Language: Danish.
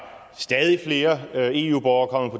stadig flere eu borgere